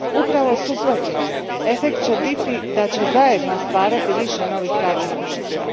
Upravo suprotno efekt će biti da će zajedno stvarati više novih radnih mjesta.